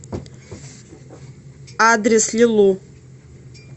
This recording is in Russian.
адрес лилу